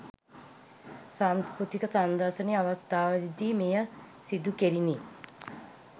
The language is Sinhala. සංස්කෘතික සංදර්ශනය අවස්ථාවේ දී මෙය සිදුකෙරිණි.